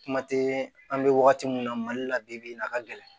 Kuma tɛ an bɛ wagati min na mali la bi bi in na a ka gɛlɛn